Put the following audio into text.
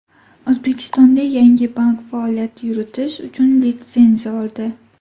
O‘zbekistonda yangi bank faoliyat yuritish uchun litsenziya oldi.